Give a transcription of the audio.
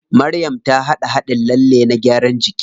Maryam ta haɗa haɗin lalle na gyaran jiki.